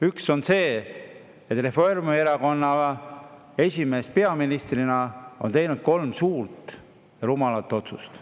Üks on see, et Reformierakonna esimees peaministrina on teinud kolm suurt rumalat otsust.